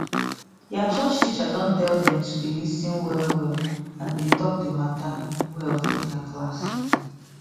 their church teacher don tell them to dey lis ten well well and dey talk the matter well for their class